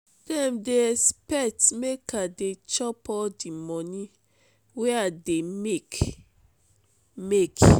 dem dey expect make i dey chop all di moni wey i dey make. make.